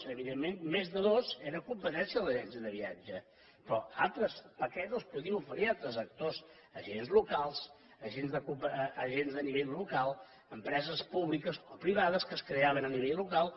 evidentment més de dos era competència de l’agència de viatge però altres paquets els podien oferir altres actors agents locals agents a nivell locals empreses públiques o privades que es creaven a nivell local